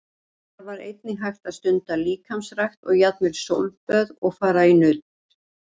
En þar var einnig hægt að stunda líkamsrækt og jafnvel sólböð og fara í nudd.